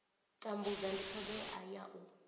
tambudza ndi thodea ya u